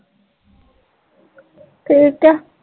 ਠੀਕ ਆ